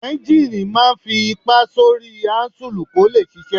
Éúnjínì máa n fi ipá sórí áúnsùl kó lè ṣiṣẹ́